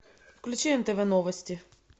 включи нтв новости